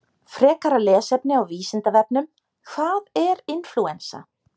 Frekara lesefni á Vísindavefnum: Hvað er inflúensa?